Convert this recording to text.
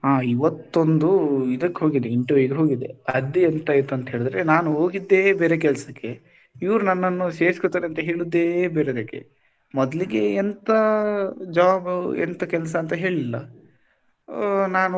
ಹಾ ಇವತ್ತೊಂದು ಇದಕ್ಕೊಗಿದ್ದೆ interview ಗೆ ಹೋಗಿದ್ದೆ ಅದ್ ಎಂತ ಆಯ್ತು ಅಂತ ಹೇಳಿದ್ರೆ ನಾನು ಹೋಗಿದ್ದೆ ಬೇರೆ ಕೆಲ್ಸಕ್ಕೆ ಇವರು ನನ್ನನ್ನು ಸೇರಿಸ್ಕೊತಾರೆ ಅಂತ ಹೇಳುದೇ ಬೇರೆದಕ್ಕೆ ಮೊದ್ಲಿಗೆ ಎಂತ job ಎಂತ ಕೆಲ್ಸ ಅಂತ ಹೇಳಿಲ್ಲ ಆ ನಾನು,